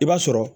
I b'a sɔrɔ